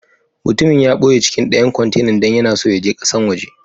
Mutumin ya boye cikin dayan kwantenan dan yana so ya je kasan woje.